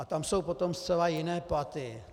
A tam jsou potom zcela jiné platy.